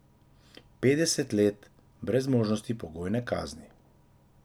Petdeset let, brez možnosti pogojne kazni.